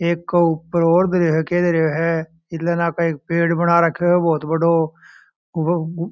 एक ऊपर और खेल रहा है एक पेड़ है बहुत बड़ा --